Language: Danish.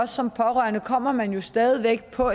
som pårørende kommer man jo stadig væk på